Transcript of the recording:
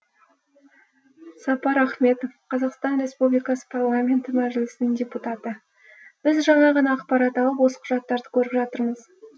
сапар ахметов қазақстан республикасы парламенті мәжілісінің депутаты біз жаңа ғана ақпарат алып осы құжаттарды көріп жатырмыз